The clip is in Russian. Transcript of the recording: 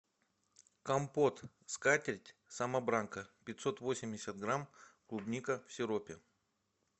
компот скатерть самобранка пятьсот восемьдесят грамм клубника в сиропе